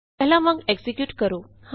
ਪਹਿਲਾਂ ਵਾਂਗ ਐਕਜ਼ੀਕਿਯੂਟ ਕਰੋ